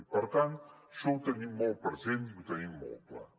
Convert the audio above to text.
i per tant això ho tenim molt present i ho tenim molt clar